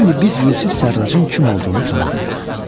İndi biz Yusif Sərraçın kim olduğunu tamamlayaq.